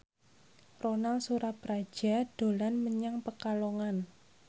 Ronal Surapradja dolan menyang Pekalongan